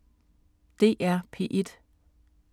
DR P1